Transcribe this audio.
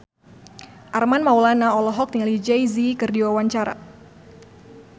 Armand Maulana olohok ningali Jay Z keur diwawancara